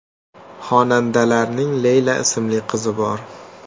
Xonandalarning Leyla ismli qizi bor.